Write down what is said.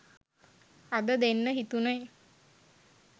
අද දෙන්න හිතුණෙ.